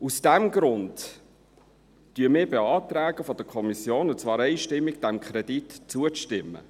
Aus diesem Grund beantragen wir von der Kommission, und zwar einstimmig, diesem Kredit zuzustimmen.